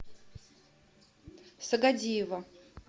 сагадиева